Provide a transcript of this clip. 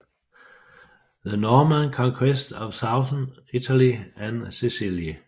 The Norman Conquest of Southern Italy and Sicily